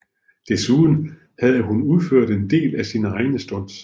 Desuden havde hun udført en del af sine egne stunts